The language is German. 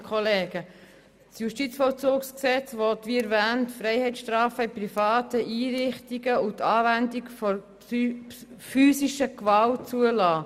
Das Justizvollzugsgesetz will, wie erwähnt, Freiheitsstrafen in privaten Einrichtungen und die Anwendung von physischer Gewalt zulassen.